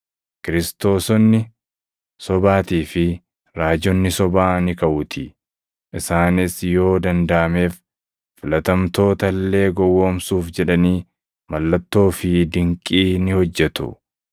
Kiristoosonni sobaatii fi raajonni sobaa ni kaʼuutii; isaanis yoo dandaʼameef, filatamtoota illee gowwoomsuuf jedhanii mallattoo fi dinqii ni hojjetu.